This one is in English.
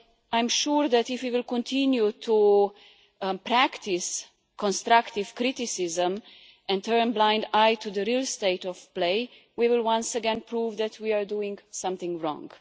I am sure that if we continue to practice constructive criticism and turn a blind eye to the real state of play, we will once again prove that we are doing something wrong.